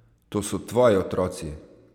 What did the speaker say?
To so tvoji otroci!